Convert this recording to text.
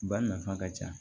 Ba nafa ka ca